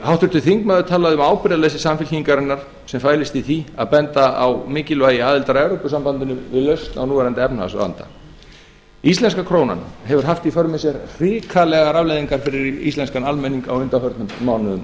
háttvirtur þingmaður talaði um ábyrgðarleysi samfylkingarinnar sem fælist í því að benda á mikilvægi aðildar að evrópusambandinu við lausn á núverandi efnahagsvanda íslenska krónan hefur haft í för með sér hrikalegar afleiðingar fyrir íslenskan almenning á undanförnum mánuðum